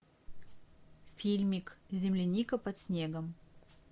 фильмик земляника под снегом